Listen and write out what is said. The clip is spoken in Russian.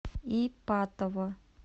ипатово